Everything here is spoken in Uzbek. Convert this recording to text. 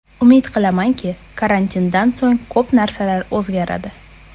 Umid qilamanki, karantindan so‘ng ko‘p narsalar o‘zgaradi.